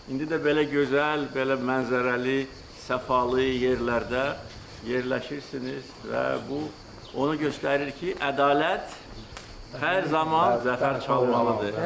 İndi də belə gözəl, belə mənzərəli, səfalı yerlərdə yerləşirsiniz və bu onu göstərir ki, ədalət hər zaman zəfər çalmalıdır.